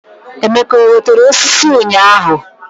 Emeke ewetere osisi ụnyaahụ?